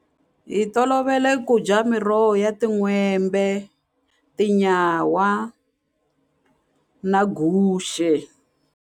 Hi tolovele ku dya miroho ya tin'hwembe, tinyawa na guxe.